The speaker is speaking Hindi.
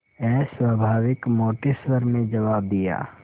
अस्वाभाविक मोटे स्वर में जवाब दिया